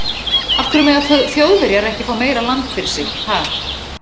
Af hverju mega Þjóðverjar ekki fá meira land fyrir sig, ha?